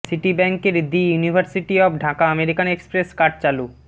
city ব্যাংকের the University of Dhaka American Express card চালু